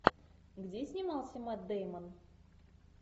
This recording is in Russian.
где снимался мэтт дэймон